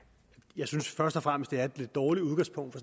jeg synes først og fremmest det er et lidt dårligt udgangspunkt for